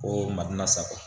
Ko mali la sa